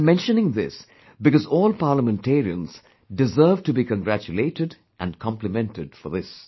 I am mentioning this because all Parliamentarians deserve to be congratulated and complimented for this